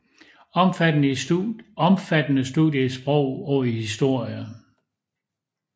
Omfattende studier i sprog og historie